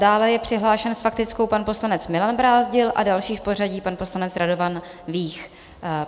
Dále je přihlášen s faktickou pan poslanec Milan Brázdil a další v pořadí pan poslanec Radovan Vích.